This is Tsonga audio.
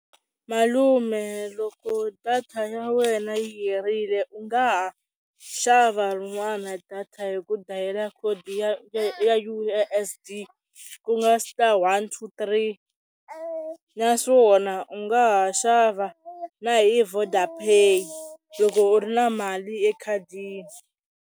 Malume loko data ya wena yi herile u nga ha xava rin'wana data hi ku dayila khodi ya U_S_S_D ku nga star one two three, naswona u nga ha xava na hi Vodapay loko u ri na mali ekhadini.